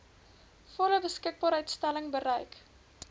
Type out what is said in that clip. volle beskikbaarstelling bereik